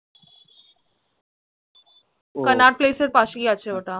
Connaught Place এর পাশেই আছে ওটা